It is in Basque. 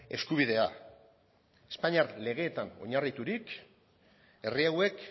eskubidea espainiar legeetan oinarriturik herri hauek